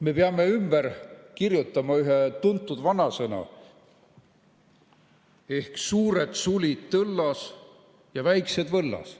Me peame ümber kirjutama ühe tuntud vanasõna, mille järgi on suured sulid tõllas ja väiksed võllas.